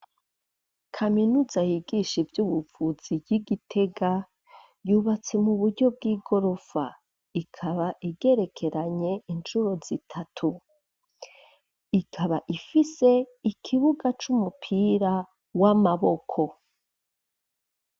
Kaminuza yigisha ivy'ubuvuzi, y'i Gitega, yubatse mu buryo bw'igorofa; ikaba igerekeranye incuro zitatu, ikaba ifise ikibuga c'umupira w'amaboko.